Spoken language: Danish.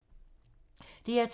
DR2